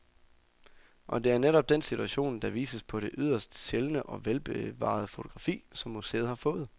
Og det er netop den situation, der vises på det yderst sjældne og velbevarede fotografi, som museet har fået.